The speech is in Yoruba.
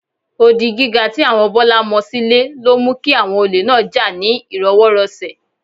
Odi gíga tí àwọn Bọ́lá mọ sílé ló mú kí àwọn olè náà jà ní ìrọwọ́rọsẹ̀